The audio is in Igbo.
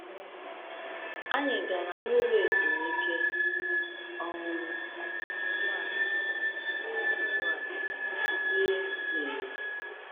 Anyị gara n’ụlọ ezumike, um nọdụ ala, rie nọdụ ala, rie tii.